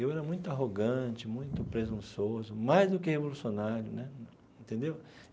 Eu era muito arrogante, muito presunçoso, mais do que revolucionário né entendeu.